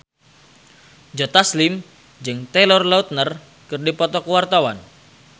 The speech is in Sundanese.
Joe Taslim jeung Taylor Lautner keur dipoto ku wartawan